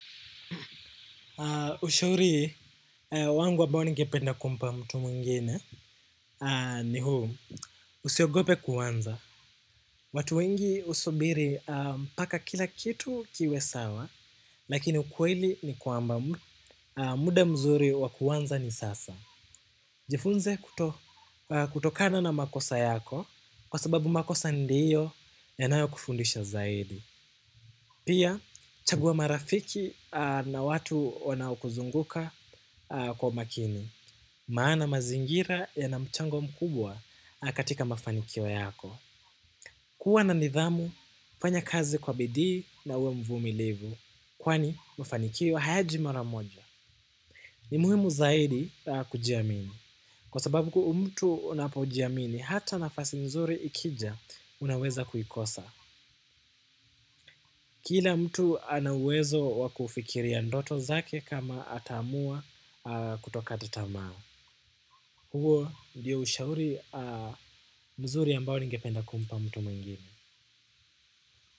Ushauri wangu ambao ningependa kumpa mtu mwingine ni huu usiogope kuanza. Watu wengi usubiri paka kila kitu kiwe sawa, lakini ukweli ni kwamba muda mzuri wa kuwanza ni sasa. Jifunze kutokana na makosa yako kwa sababu makosa ndiyo yanayo kufundisha zaidi. Pia, chagua marafiki na watu wanaokuzunguka kwa makini. Maana mazingira yanamchango mkubwa katika mafanikio yako. Kuwa na nidhamu, fanya kazi kwa bidi na uwe mvumilivu. Kwani, mafanikio hayaji mara moja. Ni muhimu zaidi kujiamini. Kwa sababu kuu mtu unapojiamini, hata nafasi nzuri ikija unaweza kuikosa. Kila mtu ana uwezo wakufikiria ndoto zake kama ataamua kutokata tamaa. Huo ndiyo ushauri mzuri ambao ningependa kumpa mtu mwingine.